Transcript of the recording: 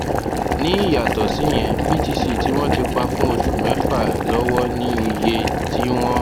ní ìyàtò síyẹn btc tí wọn ti pa fún oṣù mẹfà lọwọ ní iye tí wọn